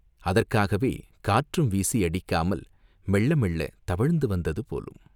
அதற்காகவே காற்றும் வீசி அடிக்காமல் மெள்ள மெள்ளத் தவழ்ந்து வந்தது போலும்!